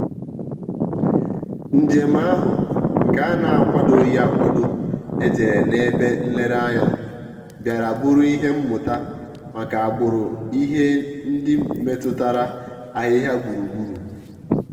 njèm áhụ́ nke á nà-ákwàdòghị́ ákwádò éjérè n’ébè nlèrèànyà bìàrà bụ́rụ́ ìhè mmụ́tà màkà àgbụ̀rụ̀ ìhè ndị́ métụ́tàrà àhị́hị́à gbúrù-gbúrù.